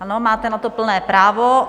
Ano, máte na to plné právo.